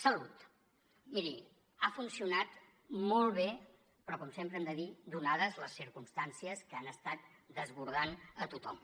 salut miri ha funcionat molt bé però com sempre hem de dir donades les circumstàncies que han estat desbordant a tothom